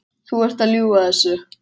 Þú ert að ljúga þessu!